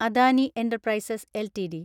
Adani enterprises LTD